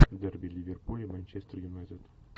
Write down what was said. дерби ливерпуль и манчестер юнайтед